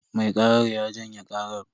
Mai karar ya janye karar.